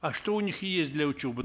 а что у них есть для учебы